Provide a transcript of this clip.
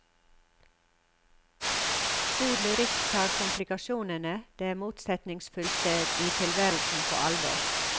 God lyrikk tar komplikasjonene, det motsetningsfylte i tilværelsen på alvor.